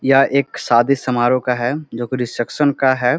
यह एक शादी समारोह का है जो की रिसेप्शन का है।